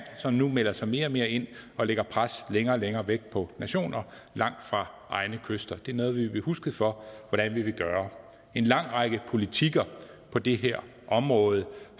som nu melder sig mere og mere ind og lægger pres længere og længere væk på nationer langt fra egne kyster det er noget vi vil blive husket for hvordan vi vil gøre en lang række politikker på det her område